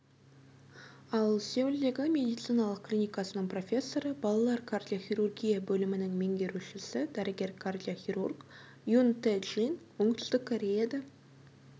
ал сеулдегі медициналық клинкасының профессоры балалар кардиохирургия бөлімінің меңгерушісі дәрігер кардиохирург юн тэ джин оңтүстік кореяда